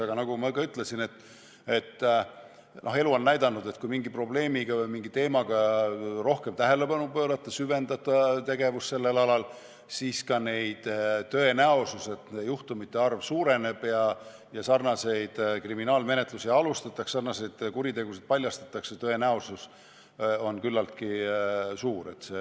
Aga nagu ma ka ütlesin, elu on näidanud, et kui mingile probleemile või teemale rohkem tähelepanu pöörata, süvendada tegevust sellel alal, siis ka tõenäosus, et nende juhtumite arv suureneb, sarnaseid kriminaalmenetlusi alustatakse ja sarnaseid kuritegusid paljastatakse, on küllaltki suur.